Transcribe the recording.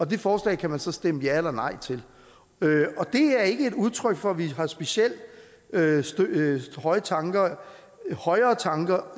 det forslag kan man så stemme ja eller nej til det er ikke et udtryk for at vi har specielt højere tanker højere tanker